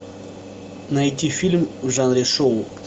найти фильм в жанре шоу